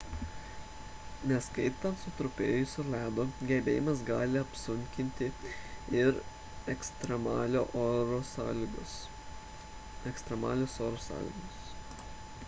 neskaitant sutrupėjusio ledo gelbėjimą gali apsunkinti ir ekstremalios oro sąlygos